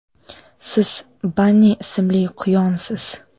Siz – Banni ismli quyonsiz.